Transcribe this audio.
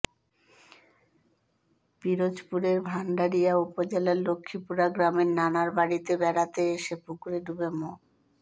পিরোজপুরের ভান্ডারিয়া উপজেলার লক্ষ্মীপুরা গ্রামের নানার বাড়িতে বেড়াতে এসে পুকুরে ডুবে মো